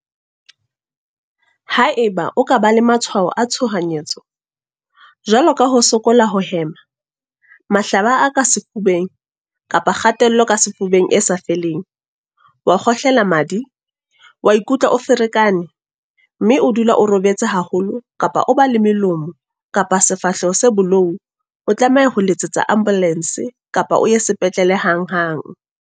Haeba o ka ba le matshwao a tshohanyetso, jwalo ka ho sokola ho hema, mahlaba a ka sefubeng kapa kgatello ka sefubeng e sa feleng, wa kgohlela madi, wa ikutlwa o ferekane, mme o dula o robetse haholo kapa o ba le melomo kapa sefahleho se bolou o tlameha ho letsetsa ambolense kapa o ye sepetlele hanghang.